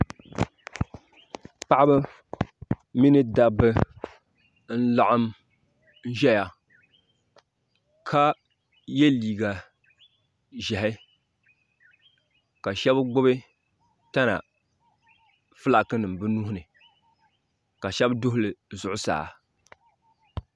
paɣba mini da ba n laɣim ʒɛya ka yɛ liga ʒiɛhi ka shɛbi gbabi tana ƒɔlaki nim bi nuihini ka shɛbi duhili zuɣ saa